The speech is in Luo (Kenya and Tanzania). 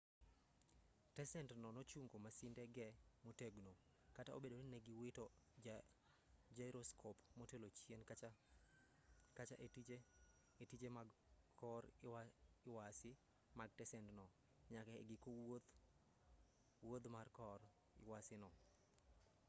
tesend no nochungo masinde ge motegno kata obedo ni ne giwito jairoskop motelo chien kacha e tije mag kor lwasi mag tesendno nyaka e giko wuodh mar kor lwasi no